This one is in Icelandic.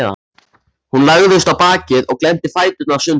Hún lagðist á bakið og glennti fæturna sundur.